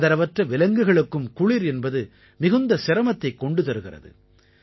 ஆதரவற்ற விலங்குகளுக்கும் குளிர் என்பது மிகுந்த சிரமத்தைக் கொண்டு தருகிறது